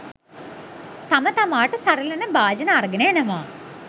තම තමාට සරිලන භාජන අරගෙන එනවා